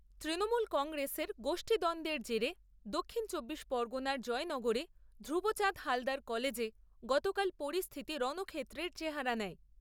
তৃণমূল কংগ্রেসের গোষ্ঠীদ্বন্দ্বের জেরে দক্ষিণ চব্বিশ পরগণার জয়নগরে ধ্রুবচাঁদ হালদার কলেজে গতকাল পরিস্থিতি রণক্ষেত্রের চেহারা নেয়।